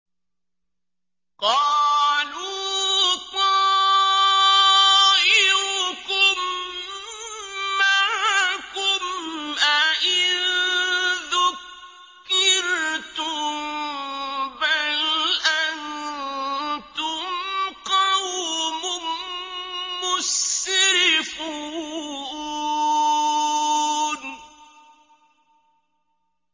قَالُوا طَائِرُكُم مَّعَكُمْ ۚ أَئِن ذُكِّرْتُم ۚ بَلْ أَنتُمْ قَوْمٌ مُّسْرِفُونَ